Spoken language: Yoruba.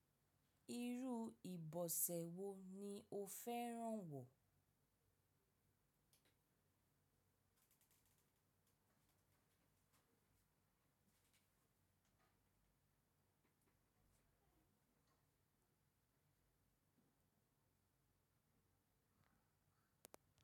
Irú ìbọ̀sẹ̀ wo ni o fẹ́ràn wọ̀?